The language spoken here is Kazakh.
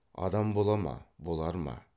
адам бола ма болар ма